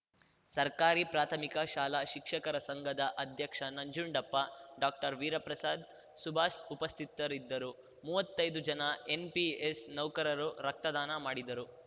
ಸರ್ಕಾರಿ ಪ್ರಾಥಮಿಕ ಶಾಲಾ ಶಿಕ್ಷಕರ ಸಂಘದ ಅಧ್ಯಕ್ಷ ನಂಜುಂಡಪ್ಪ ಡಾಕ್ಟರ್ವೀರಪ್ರಸಾದ್‌ ಸುಭಾಸ್‌ ಉಪಸ್ಥಿತರಿದ್ದರು ಮುವ್ವತ್ತೈದು ಜನ ಎನ್‌ಪಿಎಸ್‌ ನೌಕರರು ರಕ್ತದಾನ ಮಾಡಿದರು